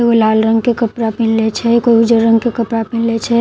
कोई लाल रंग के कपड़ा पहिनले छै कोई उजर रंग के कपड़ा पहिनले छै लड ---